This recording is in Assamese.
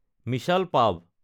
মিছাল পাভ